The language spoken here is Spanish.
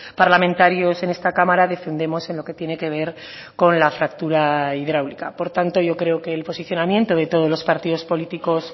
parlamentarios en esta cámara defendemos en lo que tiene que ver con la fractura hidráulica por tanto yo creo que el posicionamiento de todos los partidos políticos